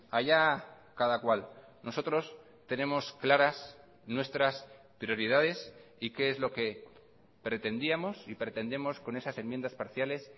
allá cada cual nosotros tenemos claras nuestras prioridades y qué es lo que pretendíamos y pretendemos con esas enmiendas parciales